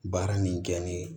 Baara min kɛ ni